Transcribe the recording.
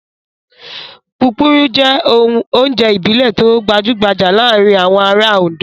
Púpurú jẹ́ oúnjẹ ìbílẹ̀ tó gbajúgbajà láàárin àwọn ará Oǹdó.